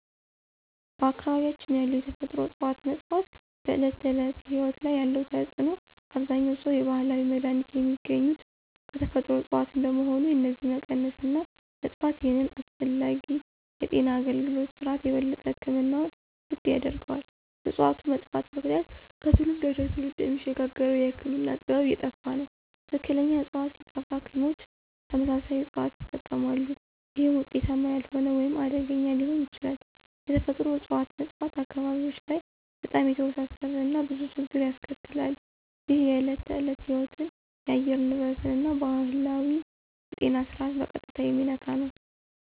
በአካባቢያችን ያሉ የተፈጥሮ እፅዋት መጥፋት በዕለት ተዕለት ሕይወት ላይ ያለው ተጽዕኖ አብዛኛውን ሰው የባህላዊ መድሃኒት የሚገኙት ከተፈጥሮ እጽዋት እንደመሆኑ የነዚህ መቀነስ እና መጥፋት ይህንን አስፈላጊ የጤና አገልግሎት ስርዓት የበለጠ ሕክምናውን ውድ ያደርገዋል። በእጽዋቱ መጥፋት ምክንያት ከትውልድ ወደ ትውልድ የሚሸጋገረው የህክምና ጥበብ እየጠፋ ይሄዳል። ትክክለኛ ዕፅዋት ሲጠፋ ሐኪሞች ተመሳሳይ እጽዋትን ይጠቀማሉ፣ ይህም ውጤታማ ያልሆነ ወይም አደገኛ ሊሆን ይችላል። የተፈጥሮ እጽዋት መጥፋት አካባቢዎች ላይ በጣም የተወሳሰበ እና ብዙ ችግር ያስከትላል። ይህ የዕለት ተዕለት ሕይወትን፣ የአየር ንብረትን እና ባህላዊውን የጤና ስርዓት በቀጥታ የሚነካ ነው።